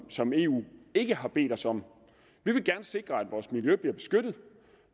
som eu ikke har bedt os om vi vil gerne sikre at vores miljø bliver beskyttet